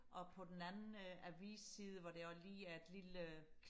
og på den anden øh avis side hvor der også lige er et lille øh